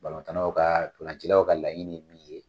tan naw ka ntɔlancilaw ka laɲini ye min ye.